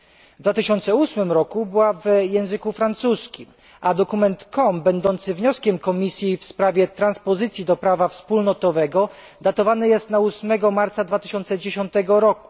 W 2008 roku pracowano na wersji w języku francuskim, a dokument COM będący wnioskiem Komisji w sprawie transpozycji do prawa wspólnotowego datowany jest na 8 marca 2010 r.